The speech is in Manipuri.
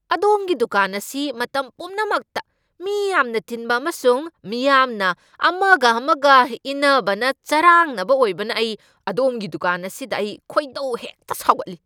ꯑꯗꯣꯝꯒꯤ ꯗꯨꯀꯥꯟ ꯑꯁꯤ ꯃꯇꯝ ꯄꯨꯝꯅꯃꯛꯇ ꯃꯤ ꯌꯥꯝꯅ ꯇꯤꯟꯕ ꯑꯃꯁꯨꯡ ꯃꯤꯌꯥꯝꯅ ꯑꯃꯒ ꯑꯃꯒ ꯏꯟꯅꯕꯅ ꯆꯔꯥꯡꯅꯕ ꯑꯣꯏꯕꯅ ꯑꯩ ꯑꯗꯣꯝꯒꯤ ꯗꯨꯀꯥꯟ ꯑꯁꯤꯗ ꯑꯩ ꯈꯣꯏꯗꯧ ꯍꯦꯛꯇ ꯁꯥꯎꯒꯠꯂꯤ꯫